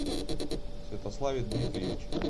святославе дмитриевиче